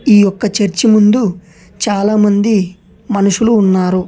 ఈ యొక్క చర్చ్ ముందు చాలామంది మనుషులు ఉన్నారు.